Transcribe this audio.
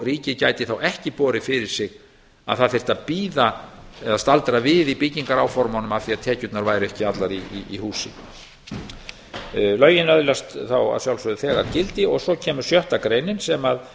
ríkið gæti þá ekki borið því fyrir sig að það þyrfti að bíða eða staldra við í byggingaráformunum af því að tekjurnar væru ekki allar í húsi lögin öðlast þá að sjálfsögðu þegar gildi og svo kemur sjötta greinin sem að